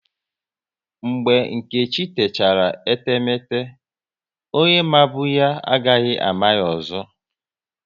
Mgbe Nkechi techara etemete, onye mabu ya, agaghị ama ya ọzọ